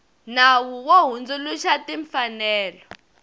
nawu wo hundzuluxa wa timfanelo